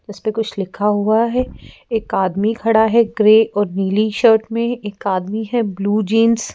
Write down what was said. इस पे कुछ लिखा हुआ है एक आदमी खड़ा है ग्रे और नीली शर्ट में एक आदमी है ब्लू जींस --